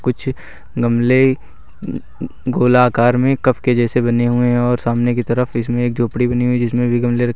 कुछ गमले अह अह गोलाकार में कप के जैसे बने हुए हैं और सामने की तरफ इसमें एक झोपड़ी बनी हुई जिसमें भी गमले--